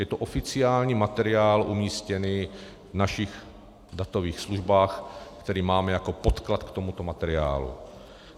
Je to oficiální materiál umístěný v našich datových službách, který máme jako podklad k tomuto materiálu.